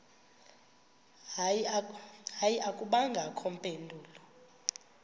hayi akubangakho mpendulo